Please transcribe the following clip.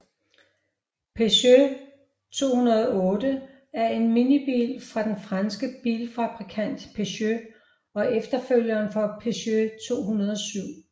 Peugeot 208 er en minibil fra den franske bilfabrikant Peugeot og efterfølgeren for Peugeot 207